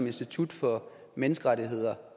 institut for menneskerettigheder